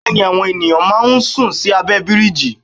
Bẹ́ẹ̀ni àwọn ènìyàn máa ń sùn sí abẹ́ bíríjì.